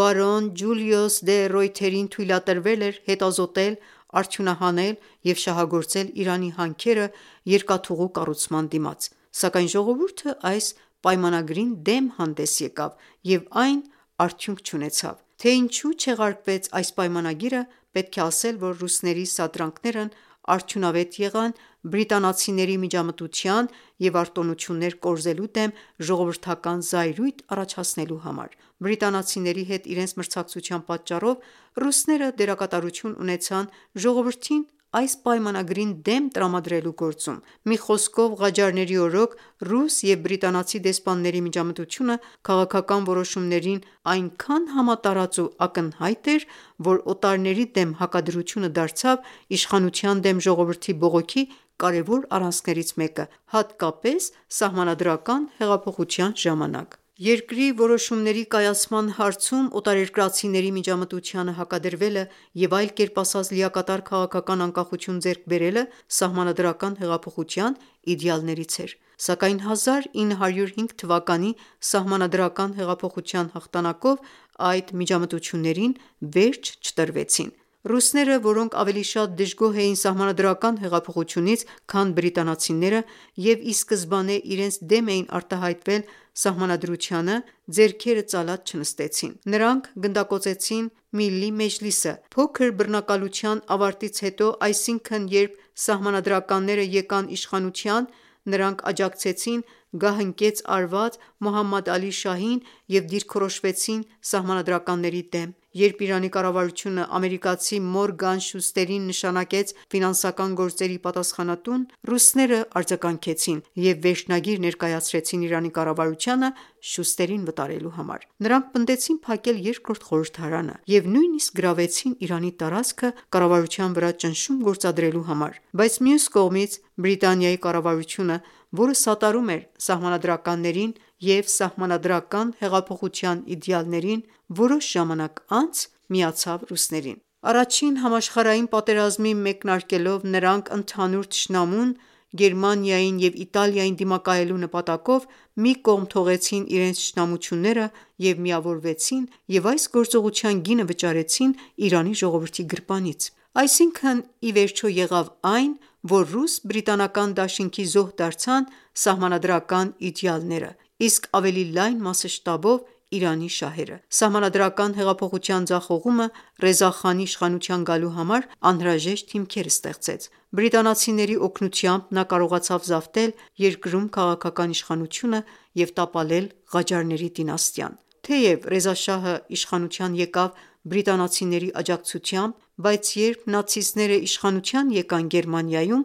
բարոն Ջուլիուս դե Ռոյթերին թույլատրվել էր հետազոտել, արդյունահանել և շահագործել Իրանի հանքերը՝ երկաթուղու կառուցման դիմաց, սակայն ժողովուրդը այս պայմանագրին դեմ հանդես եկավ և այն արդյունք չունեցավ։ Թե ինչու չեղարկվեց այս պայմանագիրը, պետք է ասել, որ ռուսների սադրանքներն արդյունավետ եղան բրիտանացիների միջամտության և արտոնություններ կորզելու դեմ ժողովրդական զայրույթ առաջացնելու համար։ Բրիտանացիների հետ իրենց մրցակցության պատճառով ռուսները դերակատարություն ունեցան ժողովրդին այս պայմանագրին դեմ տրամադրելու գործում: Մի խոսքով, Ղաջարների օրոք ռուս և բրիտանացի դեսպանների միջամտությունը քաղաքական որոշումներին այնքան համատարած ու ակնհայտ էր, որ «օտարների դեմ հակադրությունը» դարձավ իշխանության դեմ ժողովրդի բողոքի կարևոր առանցքներից մեկը, հատկապես սահմանադրական հեղափոխության ժամանակ։ Երկրի որոշումների կայացման հարցում օտարերկրացիների միջամտությանը հակադրվելը և այլ կերպ ասած լիակատար քաղաքական անկախություն ձեռք բերելը սահմանադրական հեղափոխության իդեալներից էր, սակայն 1905 թվականի սահմանադրական հեղափոխության հաղթանակով այդ միջամտություններին վերջ չտրվեցին։ Ռուսները, որոնք ավելի շատ դժգոհ էին սահմանադրական հեղափոխությունից, քան բրիտանացիները, և ի սկզբանե իրենց դեմ էին արտահայտվել սահմանադրությանը, ձեռքերը ծալած չնստեցին։ Նրանք գնդակոծեցին Միլլի մեջլիսը։ Փոքր բռնակալության ավարտից հետո, այսինքն՝ երբ սահմանադրականները եկան իշխանության, նրանք աջակցեցին գահընկեց արված Մոհամմադ Ալի Շահին և դիրքորոշվեցին սահմանադրականների դեմ: Երբ Իրանի կառավարությունը ամերիկացի Մորգան Շուստերին նշանակեց ֆինանսական գործերի պատասխանատուն, ռուսները արձագանքեցիև և վերջնագիր ներկայացրին Իրանի կառավարությանը՝ Շուստերին վտարելու համար։ Նրանք պնդեցին փակել երկրորդ խորհրդարանը և նույնիսկ գրավեցին Իրանի տարածքը՝ կառավարության վրա ճնշում գործադրելու համար։ Բայց մյուս կողմից Բրիտանիայի կառավարությունը, որը սատարում էր սահմանադրականներին և սահմանադրական հեղափոխության իդեալներին, որոշ ժամանակ անց միացավ ռուսներին։ Առաջին համաշխարհային պատերազմի մեկնարկելով նրանք ընդհանուր թշնամուն՝ Գերմանիային և Իտալիային դիմակայելու նպատակով, մի կողմ թողեցին իրենց թշնամությունները և միավորվեցին և այս գործողության գինը վճարեցին Իրանի ժողովրդի գրպանից։ Այսինքն, ի վերջո, եղավ այն, որ ռուս-բրիտանական դաշինքի զոհ դարձան սահմանադրական իդեալները, իսկ ավելի լայն մասշտաբով Իրանի շահերը։ Սահմանադրական հեղափոխության ձախողումը Ռեզա Խանի իշխանության գալու համար անհրաժեշտ հիմքեր ստեղծեց։ Բրիտանացիների օգնությամբ նա կարողացավ զավթել երկրում քաղաքական իշխանությունը և տապալել Ղաջարների դինաստիան։ Թեև Ռեզա Շահը իշխանության եկավ բրիտանացիների աջակցությամբ, բայց երբ նացիստները իշխանության եկան Գերմանիայում,